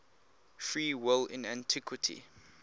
free will in antiquity